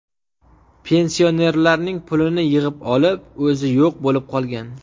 Pensionerlarning pulini yig‘ib olib, o‘zi yo‘q bo‘lib qolgan.